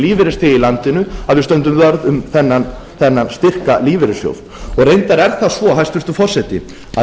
í landinu að við stöndum vörð um þennan styrka lífeyrissjóð reyndar er það svo hæstvirtur forseti að